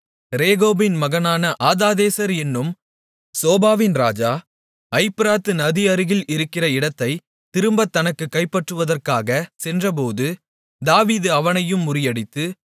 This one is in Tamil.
ரேகோபின் மகனான ஆதாதேசர் என்னும் சோபாவின் ராஜா ஐப்பிராத்து நதி அருகில் இருக்கிற இடத்தைத் திரும்பத் தனக்குக் கைப்பற்றுவதற்காகச் சென்றபோது தாவீது அவனையும் முறியடித்து